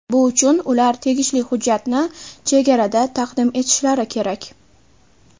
Bu uchun ular tegishli hujjatni chegarada taqdim etishlari kerak.